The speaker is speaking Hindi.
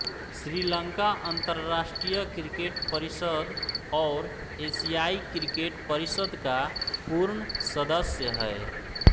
श्रीलंका अंतर्राष्ट्रीय क्रिकेट परिषद और एशियाई क्रिकेट परिषद का पूर्ण सदस्य है